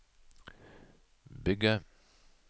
bygge